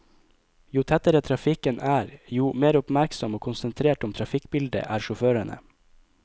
Jo tettere trafikken er, jo mer oppmerksom og konsentrert om trafikkbildet er sjåførene.